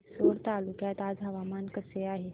रिसोड तालुक्यात आज हवामान कसे आहे